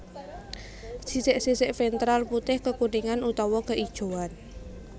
Sisik sisik ventral putih kekuningan utawa keijoan